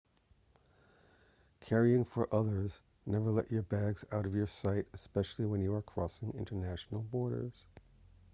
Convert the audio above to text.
carrying for others never let your bags out of your sight especially when you are crossing international borders